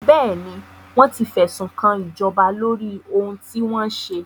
Bẹ́ẹ̀ni, wọ́n ti fẹ̀sùnkan ìjọba lóri ohun tí wọ́n ṣe.